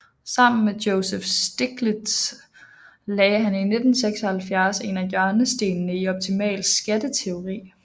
Sammen med Joseph Stiglitz lagde han i 1976 en af hjørnestenene i optimal skatteteori